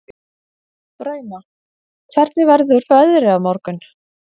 Drauma, hvernig verður veðrið á morgun?